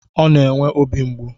Ọ na-enwe obi mgbu